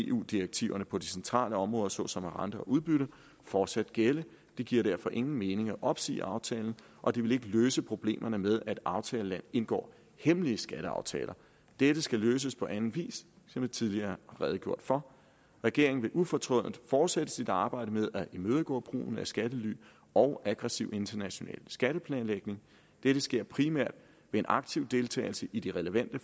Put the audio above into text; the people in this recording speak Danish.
eu direktiverne på de centrale områder såsom rente og udbytte fortsat gælde det giver derfor ingen mening at opsige aftalen og det ville ikke løse problemerne med at et aftagerland indgår hemmelige skatteaftaler dette skal løses på anden vis som jeg tidligere har redegjort for regeringen vil ufortrødent fortsætte sit arbejde med at imødegå brugen af skattely og aggressiv international skatteplanlægning dette sker primært ved en aktiv deltagelse i de relevante